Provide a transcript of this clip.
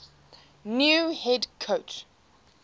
new head coach